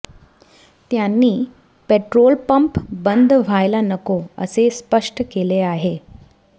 त्यांनी petrol pump बंद व्हायला नको असे स्पष्ट केले आहे